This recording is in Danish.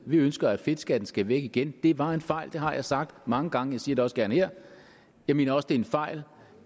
vi ønsker at fedtskatten skal væk igen det var en fejl det har jeg sagt mange gange siger det også gerne her jeg mener også det er en fejl